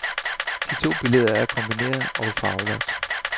De to billeder er kombineret og farvelagt.